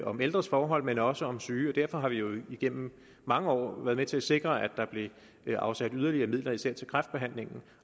om ældres forhold men også om syges derfor har vi jo igennem mange år været med til at sikre at der blev afsat yderligere midler især til kræftbehandling